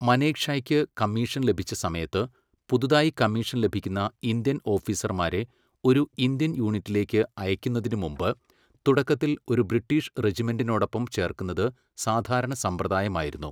മനേക്ഷായ്ക്ക് commission ലഭിച്ച സമയത്ത്, പുതുതായി കമ്മീഷൻ ലഭിക്കുന്ന ഇന്ത്യൻ ഓഫീസർമാരെ ഒരു ഇന്ത്യൻ യൂണിറ്റിലേക്ക് അയയ്ക്കുന്നതിനുമുമ്പ് തുടക്കത്തിൽ ഒരു ബ്രിട്ടീഷ് റെജിമെൻറ്റിനോടൊപ്പം ചേർക്കുന്നത് സാധാരണ സമ്പ്രദായമായിരുന്നു.